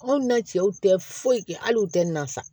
Anw na cɛw tɛ foyi kɛ hali u tɛ na sa